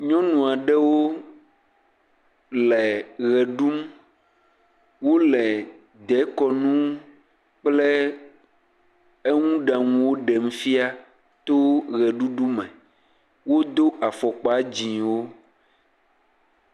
Nyɔnu aɖewo le ʋe ɖum. Wole deekɔnu kple eŋuɖaŋuwo ɖem fia to ʋeɖuɖume. Wodo afɔkpa dzɛ̃wo.